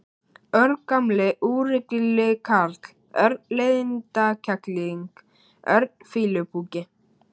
Örn gamli úrilli karl, Örn leiðindakerling, Örn fýlupoki.